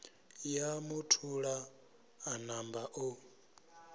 ya muthula a namba o